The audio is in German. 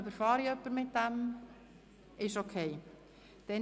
– Das scheint so in Ordnung zu sein.